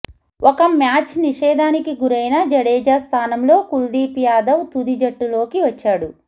ఒక మ్యాచ్ నిషేధానికి గురైన జడేజా స్థానంలో కుల్దీప్ యాదవ్ తుది జట్టులోకి వచ్చాడు